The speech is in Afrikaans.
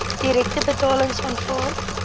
direkte betalings aanvaar